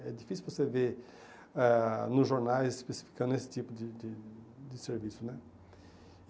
É difícil você ver ah nos jornais especificando esse tipo de de de serviço, né?